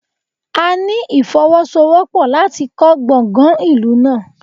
A ní ìfọwọ́sowọ́pọ̀ láti kọ́ Gbọ̀gàn ìlú náà.